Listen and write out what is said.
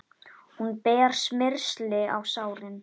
Hún ber smyrsli á sárin.